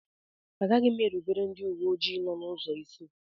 Aga m erubere ndị uwe ojii nọ n'ụzọ isi.